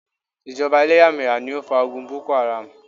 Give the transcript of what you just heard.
Ìjọba eléyàméyà ni ó fa ogun Boko Haram